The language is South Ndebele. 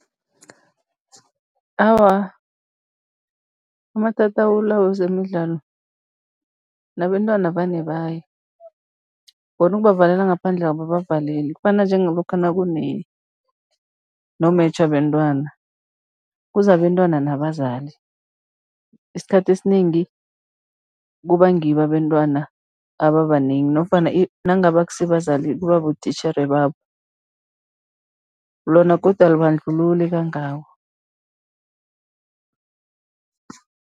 Awa, amatatawu la wezemidlalo nabentwana vane baye, bona ukubavalela ngaphandle ababavaleli. Kufana njengalokha nakune no-match wabentwana, kuza abentwana nabazali, isikhathi esinengi kuba ngibo abentwana ababanengi nofana nangabe akusibazali, kuba botitjhere babo, lona godu alibandlululi kangako.